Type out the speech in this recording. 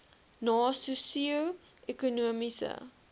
na sosio ekonomiese